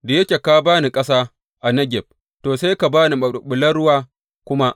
Da yake ka ba ni ƙasa a Negeb, to, sai ka ba ni maɓulɓulan ruwa kuma.